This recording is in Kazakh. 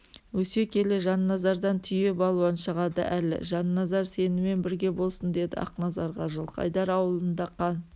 өсе келе жанназардан түйе балуан шығады әлі жанназар сенімен бірге болсын деді ақназарға жылқайдар ауылында қан